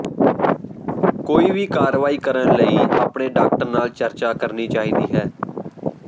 ਕੋਈ ਵੀ ਕਾਰਵਾਈ ਕਰਨ ਲਈ ਆਪਣੇ ਡਾਕਟਰ ਨਾਲ ਚਰਚਾ ਕਰਨੀ ਚਾਹੀਦੀ ਹੈ